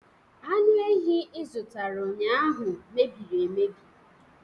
Anụ ehi ị zụtara ụnyahụ mebiri emebi